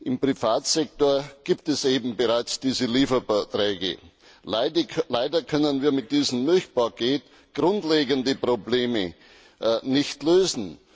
Im Privatsektor gibt es eben bereits diese Lieferverträge. Leider können wir mit diesem Milchpaket grundlegende Probleme nicht lösen.